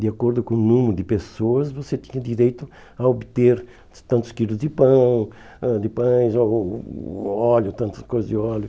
De acordo com o número de pessoas, você tinha direito a obter tantos quilos de pão, ãh de pães, ou óleo, tantas coisas de óleo.